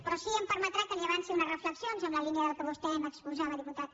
però sí que em permetrà que li avanci unes reflexions en la línia del que vostè m’exposava diputat